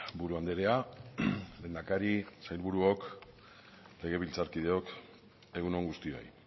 buru andrea lehendakari sailburuok legebiltzarkideok egun on guztioi